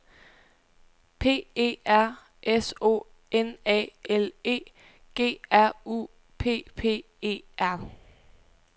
P E R S O N A L E G R U P P E R